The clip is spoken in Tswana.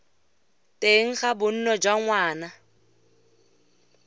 teng ga bonno jwa ngwana